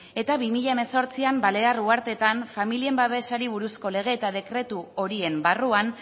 eta bi mila hemezortzi balear uharteetan familien babesari buruzko lege eta dekretu horien barruan